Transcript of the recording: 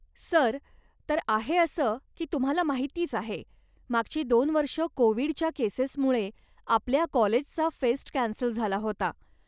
Sir, तर आहे असं की तुम्हाला माहितीच आहे, मागची दोन वर्ष कोविडच्या केसेसमुळे आपल्या कॉलेजचा फेस्ट कॅन्सल झाला होता.